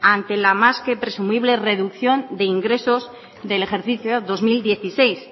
ante la más que presumible reducción de ingresos del ejercicio dos mil dieciséis